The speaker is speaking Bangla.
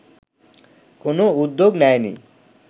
কোনো উদ্যোগ নেয়নি